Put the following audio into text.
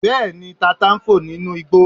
Bẹ́ẹ̀ni, tata ń fò nínú igbó